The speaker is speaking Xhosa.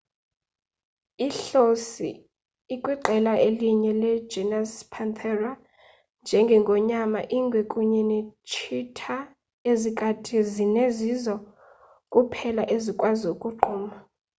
ihlosi ikwiqela elinye le genus panthera njenge ngonyama ingwe kunye ne tshitha. ezikati zine zizo kuphela ezikwazi ukugquma